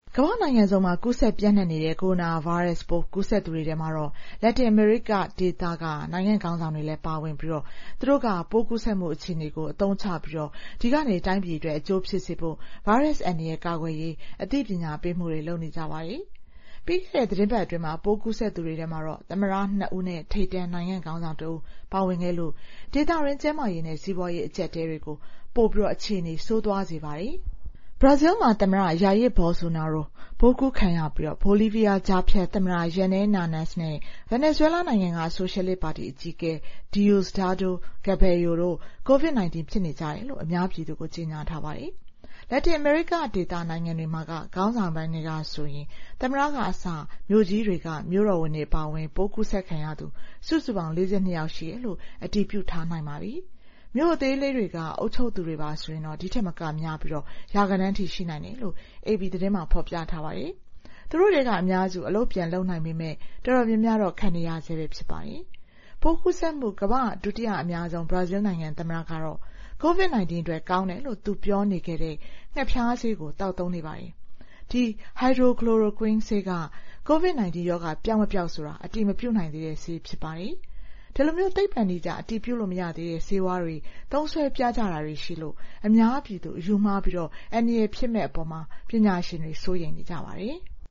ကမ္ဘာ့နိုင်ငံစုံမှာ ကူးစက်ပျံ့နှံ့နေတဲ့ ကိုရိုနာဗိုင်းရပ်စ်ပိုး ကူးစက်သူတွေထဲမှာတော့ လက်တင်အမေရိကဒေသက နိုင်ငံခေါင်းဆောင်တွေလည်း ပါဝင်ပြီး သူတို့က ပိုးကူးစက်မှု အခြေအနေကို အသုံးချပြီး ဒီကနေ တိုင်းပြည်အတွက် အကျိုးဖြစ်စေဖို့ ဗိုင်းရပ်စ်အန္တရာယ် ကာကွယ်ရေး အသိပညာပေးမှုတွေ လုပ်နေကြပါတယ်။ ပြီးခဲ့တဲ့သီတင်းပတ်အတွင်း ပိုးကူးစက်သူတွေထဲမှာတော့ သမ္မတ ၂ ဦးနဲ့ ထိပ်တန်း နိုင်ငံ့ခေါင်းဆောင်တဦး ပါဝင်ခဲ့လို့ ဒေသတွင်း ကျန်းမာရေးနဲ့ စီးပွားရေး အကျပ်အတည်းတွေကို အခြေအနေ ပိုဆိုးသွားစေပါတယ်။ ဘရာဇီးမှာ သမ္မတ Jair Bolsonaro ပိုးကူးခံရပြီး ဘိုလီးဗီးယား ကြားဖြတ်သမ္မတ Jeanine Añez နဲ့ ဗင်နီဇွဲလားနိုင်ငံက ဆိုရှယ်လစ်ပါတီ အကြီးအကဲ Diosdado Cabello တို့ COVID-19 ဖြစ်နေကြတယ်လို့ အများပြည်သူကို ကြေညာထားပါတယ်။ လက်တင်အမေရိကဒေသ နိုင်ငံတွေမှာက ခေါင်းဆောင်ပိုင်းထဲကဆိုရင် သမ္မတကအစ မြို့ကြီးတွေက မြို့တော်ဝန်တွေ အပါအဝင် ပိုးကူးစက်ခံရသူ စုစုပေါင်း ၄၂ ယောက်ရှိတယ်လို့ အတည်ပြုထားနိုင်ပါပြီ။ မြို့အသေးလေးတွေက အုပ်ချုပ်သူတွေပါဆိုရင် ဒီထက်မကများပြီး ရာဂဏန်းထိ ရှိနိုင်တယ်လို့ AP သတင်းမှာ ဖော်ပြထားပါတယ်။ သူတို့ထဲက အများစု အလုပ်ပြန်လုပ်နိုင်ပေမယ့် တော်တော်များများတော့ ခံနေရဆဲပဲ ဖြစ်ပါတယ်။ ပိုးကူးစက်မှု ကမ္ဘာ့ဒုတိယအများဆုံး ဘရာဇီးနိုင်ငံ သမ္မတကတော့ COVID-19 အတွက် ကောင်းတယ်လို့ သူပြောနေခဲ့တဲ့ ငှက်ဖျားဆေးကို သောက်သုံးနေပါတယ်။ ဒီ Hydroxychloroquine ဆေးက COVID-19 ရောဂါ ပျောက်မပျောက်ဆိုတာ အတည်မပြုနိုင်သေးတဲ့ဆေး ဖြစ်ပါတယ်။ ဒီလို သိပ္ပံနည်းကျ အတည်ပြုလို့ မရသေးတဲ့ ဆေးဝါးတွေ သုံးစွဲပြကြတာတွေရှိလို့ အများပြည်သူ အယူမှားပြီး အန္တရာယ်ဖြစ်မယ့်အပေါ် ပညာရှင်တွေ စိုးရိမ်နေကြပါတယ်။